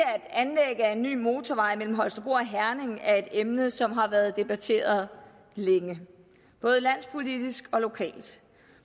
at anlæg af en ny motorvej mellem holstebro og herning er et emne som har været debatteret længe både landspolitisk og lokalt